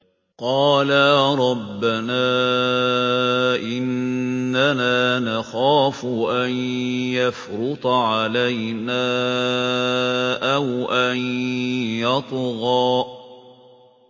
قَالَا رَبَّنَا إِنَّنَا نَخَافُ أَن يَفْرُطَ عَلَيْنَا أَوْ أَن يَطْغَىٰ